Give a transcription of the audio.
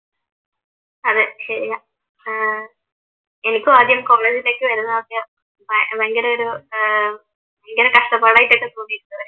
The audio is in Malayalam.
അതെ ശെരിയാ ഏർ എനിക്കും ആദ്യം കോമേഴ്‌സിലേക്ക് വരുന്നതൊക്കെ ഭയങ്കരം ഒരു ഏർ ഭയങ്കരം കഷ്ടപ്പാടായിട്ടൊക്കെ തോന്നിയിട്ടുണ്ട്